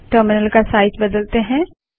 terminal का size बदलते हैं